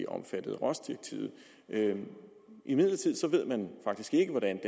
omfattet af rohs direktivet imidlertid ved man faktisk ikke hvordan